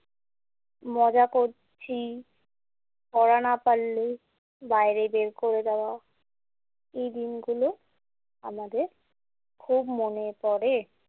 মজা করছি, পড়া না পারলে বাইরে বের করে দেওয়া। এই দিনগুলো আমাদের খুব মনে পড়ে।